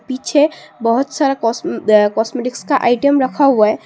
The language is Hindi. पीछे बहुत सारा कॉस्म कॉस्मेटिक का आइटम रखा हुआ है।